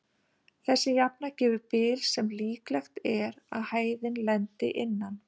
Þessi jafna gefur bil sem líklegt er að hæðin lendi innan.